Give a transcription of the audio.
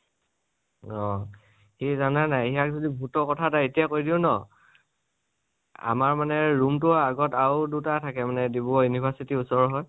অ, কি জানা নে নাই ? সিয়াক যদি ভুতৰ কথা এতিয়া কৈ দিও ন আমাৰ মানে room তোৰ আগত আৰু দুতা থাকে, ডিব্ৰুগড় university ৰ ওচৰৰ হয়